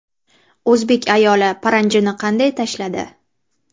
O‘zbek ayoli paranjini qanday tashladi?